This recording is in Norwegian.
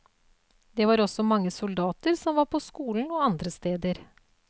Det var også mange soldater som var på skolen og andre steder.